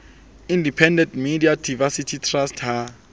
independent media diversity trust ha